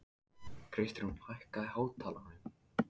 Kristrún, hækkaðu í hátalaranum.